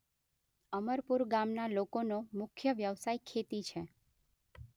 અમરપુર ગામના લોકોનો મુખ્ય વ્યવસાય ખેતી છે.